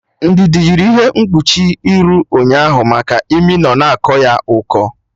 Ndidi yiri ihe mkpuchi iru ụnyaahụ maka imi nọ na akọ ya ụkọ